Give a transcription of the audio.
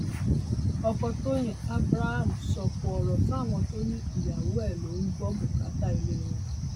ọkọ tọyìn abraham sọkò ọrọ sáwọn tó ní ìyàwó ẹ ló ń gbọ bùkátà ilé wọn